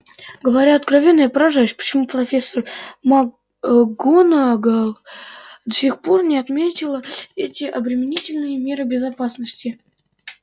говоря откровенно я поражаюсь почему профессор макгонагалл до сих пор не отменила эти обременительные меры безопасности